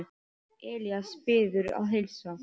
Elías biður að heilsa.